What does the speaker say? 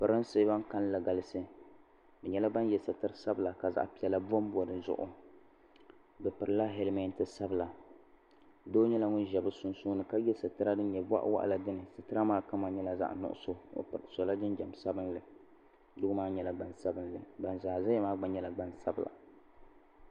Pirinsi ban kalinli galisi bɛ nyɛla ban ye sitiri sabla ka zaɣa piɛla bombo di zuɣu bɛ pirila helimenti sabila doo nyɛla ŋun za bɛ sunsuuni ka ye sitira din nyɛ boɣawaɣala dini sitira maa kama nyɛla zaɣa nuɣuso o sola jinjiɛm sabinli doo maa nyɛla gban sabinli ban zaa zaya maa nyɛla gbansabla.